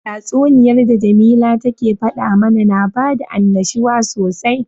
Tatsuniyan da jamila take fada mana na bada annashuwa sosai.